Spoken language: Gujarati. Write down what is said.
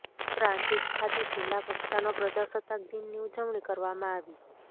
પ્રાંતિજ ખાતે જિલ્લા કક્ષા નો પ્રજાસત્તાક દિન ની ઉજવણી કરવામાં આવી